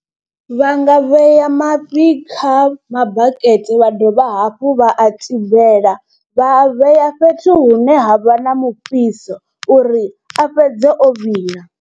Vha nga vhea mafhi kha mabakete vha dovha hafhu vha a tibela, vha a vhea fhethu hune ha vha na mufhiso uri a fhedze o vhila.